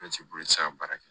bolo tɛ se ka baara kɛ